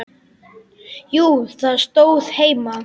Jú, það stóð heima.